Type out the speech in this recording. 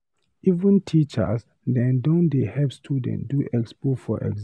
Even teachers dem don dey help students do expo for exam.